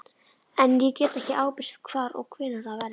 En ég get ekki ábyrgst hvar og hvenær það verður.